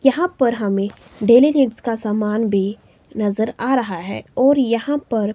यहां पर हमें डेली यूज का सामान भी नजर आ रहा है और यहां पर--